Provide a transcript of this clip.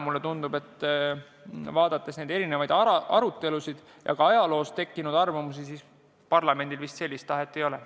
Mulle siiski tundub erinevate ajalukku jäänud ja praeguste arutelude põhjal, et parlamendil vist sellist tahet ei ole.